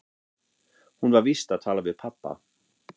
Hún var víst að tala við pabba.